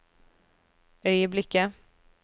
øyeblikket